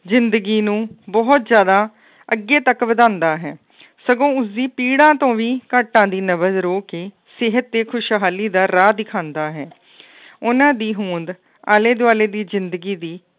ਜ਼ਿੰਦਗੀ ਨੂੰ ਬਹੁਤ ਜ਼ਿਆਦਾ ਅੱਗੇ ਤੱਕ ਵਧਾਉਂਦਾ ਹੈ ਸਗੋਂ ਉਸਦੀ ਪੀੜ੍ਹਾ ਤੋਂ ਵੀ ਘਾਟਾਂ ਦੀ ਕੇ ਸਿਹਤ ਤੇ ਖੁਸ਼ਹਾਲੀ ਦਾ ਰਾਹ ਦਿਖਾਉਂਦਾ ਹੈ ਉਹਨਾਂ ਦੀ ਹੋਂਦ ਆਲੇ ਦੁਆਲੇ ਦੀ ਜ਼ਿੰਦਗੀ ਦੀ